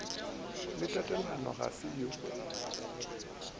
le tatalona ga se yo